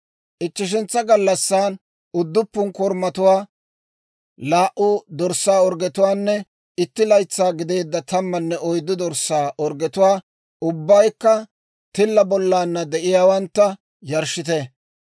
« ‹Ichcheshentsa gallassan, udduppun korumatuwaa, laa"u dorssaa orggetuwaanne, itti laytsaa gideedda tammanne oyddu dorssaa orggetuwaa, ubbaykka tilla bollana de'iyaawantta, yarshshite.